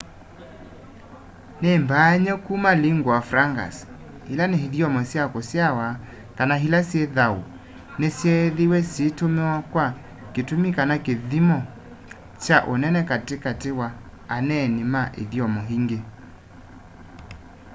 nĩ mbaany'e kuma lingua francas ila ni ithyomo sya kũsyawa kana ĩla syĩ thaũ nĩ syeethĩĩwe syĩĩtũmĩwa kwa kĩtũmĩ kana kĩthyĩmo kya ũnene katĩ katĩ wa aneeni ma ithyomo ĩngĩ